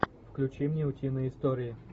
включи мне утиные истории